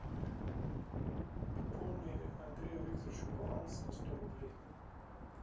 пополни андрею викторовичу баланс на сто рублей